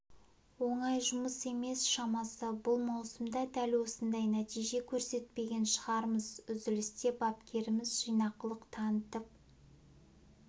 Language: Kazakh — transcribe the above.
оңай жұмыс емес шамасы бұл маусымда дәл осындай нәтиже көрсетпеген шығармыз үзілісте бапкеріміз жинақылық танытып